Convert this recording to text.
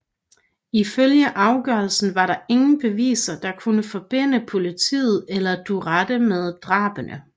Ifølge afgørelsen var der ingen beviser der kunne forbinde politiet eller Duterte med drabene